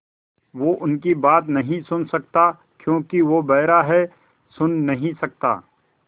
वो उनकी बात नहीं सुन सकता क्योंकि वो बेहरा है सुन नहीं सकता